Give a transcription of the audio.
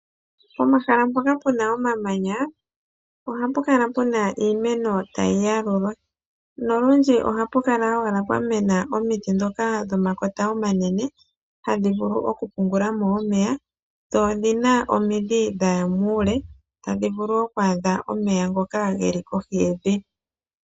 Pomahala mpoka puna omamanya ohapukala puna iimeno tayiyalulwa, no ludji ohapukala owala pwa mena omiti ndhoka dhomakota omanene ha dhivulu okupungulamo omeya, dho odhina omidhi dha ya muule tadhivulu oku adha omeya ngoka geli kohi yevi.